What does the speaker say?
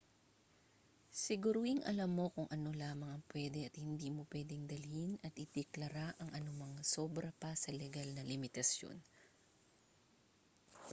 siguruhing alam mo kung ano lamang ang pwede at hindi mo pwedeng dalhin at ideklara ang anumang sobra pa sa legal na limitasiyon